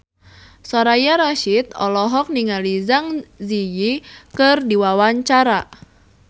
Soraya Rasyid olohok ningali Zang Zi Yi keur diwawancara